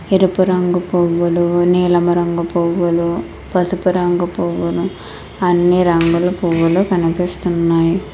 ఎరుపు రంగు పువ్వులు నీలం రంగు పువ్వులు పసుపు రంగు పువ్వులు అన్ని రంగులు పువ్వులు కనిపిస్తున్నాయి.